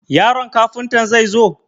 Yaron Kafuntan zai zo?